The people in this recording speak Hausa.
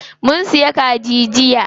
Mun siya kaji jiya.